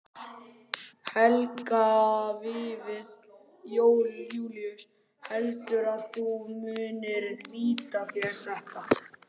Helgi Vífill Júlíusson: Heldurðu að þú munir nýta þér þetta?